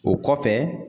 O kɔfɛ